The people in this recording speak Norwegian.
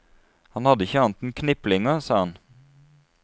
Han hadde ikke annet enn kniplinger, sa han.